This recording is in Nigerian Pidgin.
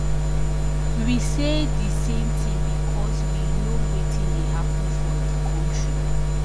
we say di same tin becos we know wetin dey happun for di kontri